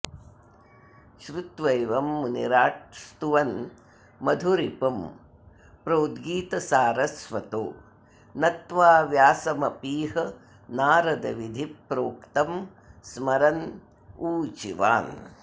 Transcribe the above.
श्रुत्वैवं मुनिराट् स्तुवन् मधुरिपुं प्रोद्गीतसारस्वतो नत्वा व्यासमपीह नारदविधिप्रोक्तं स्मरन्नूचिवान्